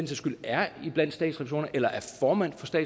skyld er formand